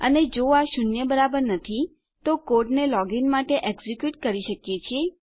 અને જો આ શૂન્ય બરાબર નથી તો આપણે કોડને લોગીન માટે એક્ઝેક્યુટ કરી શકીએ છીએ